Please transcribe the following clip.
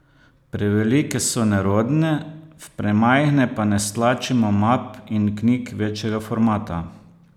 Prevelike so nerodne, v premajhne pa ne stlačimo map in knjig večjega formata.